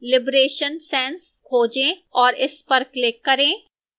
liberation sans खोजें और इस पर click करें